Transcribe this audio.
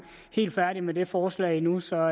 helt færdig med det forslag nu så